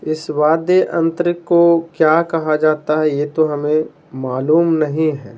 इस वाद्य अंतरिक को क्या कहा जाता है यह तो हमें मालूम नहीं है।